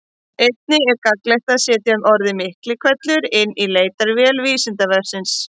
Einnig er gagnlegt að setja orðið Miklihvellur inn í leitarvél Vísindavefsins.